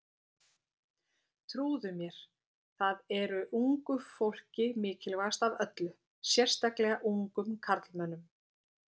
Trúðu mér, það er ungu fólki mikilvægast af öllu, sérstaklega ungum karlmönnum.